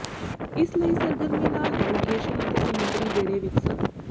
ਇਸ ਲਈ ਸਰਗਰਮੀ ਨਾਲ ਨੇਵੀਗੇਸ਼ਨ ਅਤੇ ਸਮੁੰਦਰੀ ਬੇੜੇ ਵਿਕਸਤ